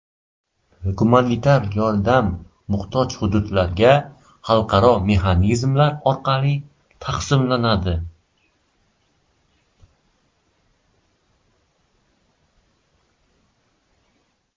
Gumanitar yordam muhtoj hududlarga xalqaro mexanizmlar orqali taqsimlanadi.